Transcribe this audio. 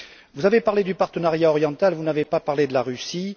Vous avez parlé du partenariat oriental, vous n'avez pas parlé de la Russie.